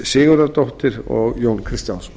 sigurðardóttir og jón kristjánsson